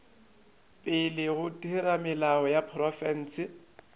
pele ga theramelao ya profense